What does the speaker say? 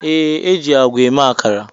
Yes, e ji àgwà eme akara